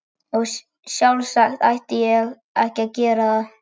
Og sjálfsagt ætti ég ekki að gera það.